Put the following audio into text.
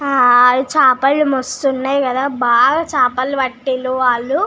హా చాపలు మస్తు ఉనది కదా హ బాగా చాపలు పట్టారు వాలు.